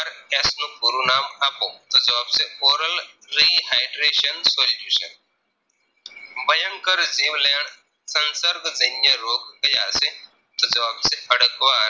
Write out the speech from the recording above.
નું પૂરું નામ આપો તો જવાબ છે Oral Rehydration Solutions ભયન્કર જીવ લેણ સન્દર્ભ જન્ય રોગ ક્યાં છે તો જવાબ છે ખડકવા